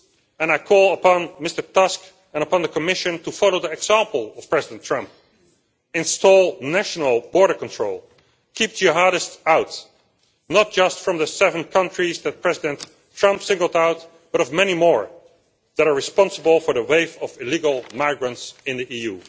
And I call upon Mr Tusk and the Commission to follow the example of President Trump install national border control keep jihadists out, not just from the seven countries that President Trump has singled out, but from many more that are responsible for the wave of illegal migrants in the EU.